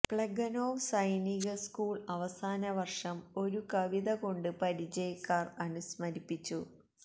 Plekhanov സൈനിക school അവസാന വർഷം ഒരു കവിത കൊണ്ട് പരിചയക്കാർ അനുസ്മരിച്ചു